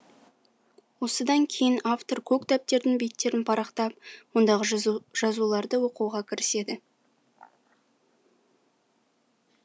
осыдан кейін автор көк дәптердің беттерін парақтап ондағы жазуларды оқуға кіріседі